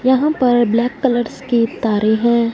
यहां पर black colours की तारे हैं।